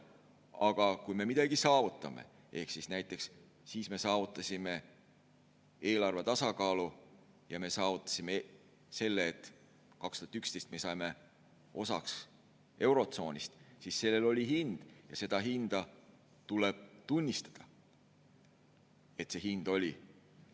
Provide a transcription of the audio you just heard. Aga kui me midagi saavutame – näiteks siis me saavutasime eelarve tasakaalu ja me saavutasime selle, et 2011 me saime osaks eurotsoonist –, siis sellel on hind ja tuleb tunnistada, et see hind oli.